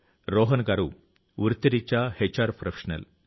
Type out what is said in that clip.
రోహన్ గారు వృత్తిరీత్యా HR professional